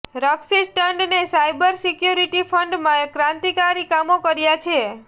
રક્ષિત ટંડને cyber security ફિલ્ડમાં ક્રાંતિકારી કામો કર્યાં છે